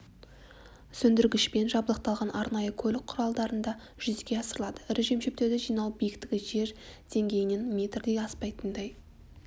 сөндіргішпен жабдықталған арнайы көлік құралдарында жүзеге асырылады ірі жем-шөптерді жинау биіктігі жер деңгейінен метрден аспайтындай